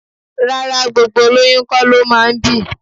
Rárá, gbogbo olóyún kó lo máa ń bì.